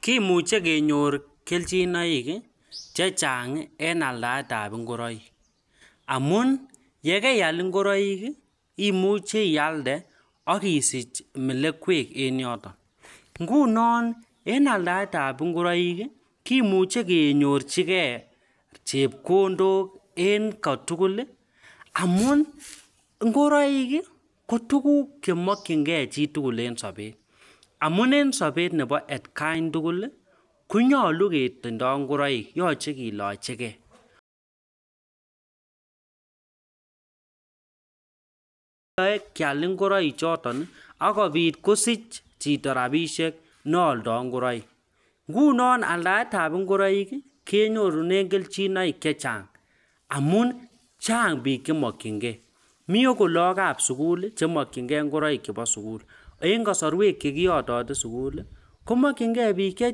Kimuche kenyor kelchinoik chechang en aldaet ab ngoroik amun ye keal ngoroik imuche ialde ak isich melekwek en yoton. Ngunon en aldaet ab ngoroik kimuche kenyorjige chepkondok en kotugul amun ngoroik kot tuguk chemokinge chi tugul en sobet. Amun en sobet nebo atkan tugul konyolu ketindo ngoroik yoche kilochi ke, keal ngoroikchoto ak kobit kosich chito rabishek ne oldo ngoroik, ngunon aldaet ab ngoroik kenyorchin kelchinn che chang amun chnag biik che mokinge. Mi akot lagok ab sugul che mokinge ngoroik chbeo sugul. En kasarwek che kiyotote sugul komokinge biik che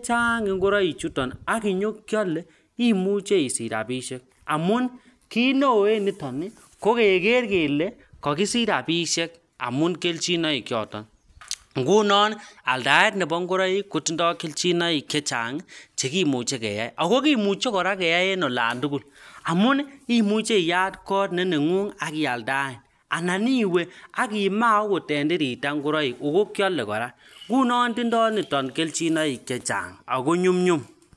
chang ngoroik chuto ak kenyokeale imuche isich rabinik che chang amun kiit neo en inoniton ko keker kele kagisich rabishek amun kelchinoi choto, ngunon aldaet nebo ngoroik kotindo kelchinoik chechang chekimuche keyai, ago kimuche keyei kora en olon tugul amun imuche iyat kot ne neng'ung ak ialdaen. Anan iwe ak imaa agot en tirata ngoroik ago kyole kora. Ngunon tindo niton kelchin che chang ago nyumnyum.